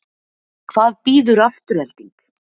Hvað býður Afturelding?